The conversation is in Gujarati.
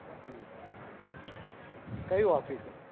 હમ કઈ office એ